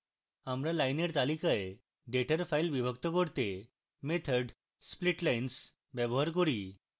আমরা lines তালিকায় ডেটার file বিভক্ত করতে method splitlines ব্যবহার করি